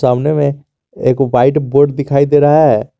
सामने में एक व्हाइट बोर्ड दिखाई दे रहा है।